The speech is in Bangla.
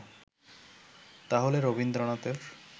তাহলে রবীন্দ্রনাথের